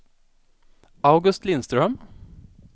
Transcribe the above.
August Lindström